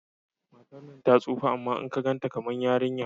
Matar nan ta tsufa amma in ka ganta kamar yarinya